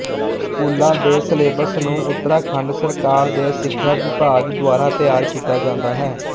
ਸਕੂਲਾਂ ਦੇ ਸਿਲੇਬਸ ਨੂੰ ਉਤਰਾਖੰਡ ਸਰਕਾਰ ਦੇ ਸਿੱਖਿਆ ਵਿਭਾਗ ਦੁਆਰਾ ਤੈਯਾਰ ਕੀਤਾ ਜਾਂਦਾ ਹੈ